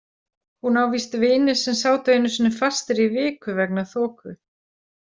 Hún á víst vini sem sátu einu sinni fastir í viku vegna þoku.